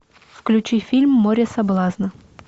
включи фильм море соблазна